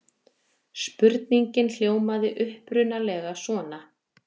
Spurningin hljómaði upprunalega svona: